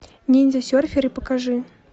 ниндзя серферы покажи